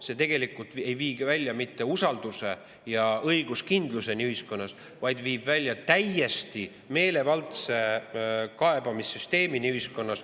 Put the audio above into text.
See tegelikult ei vii välja mitte usalduseni ja õiguskindluseni ühiskonnas, vaid viib välja täiesti meelevaldse kaebamissüsteemini ühiskonnas.